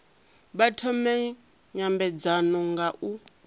vha thome nymbedzano nga u